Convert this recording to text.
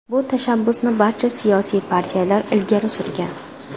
Bu tashabbusni barcha siyosiy partiyalar ilgari surgan.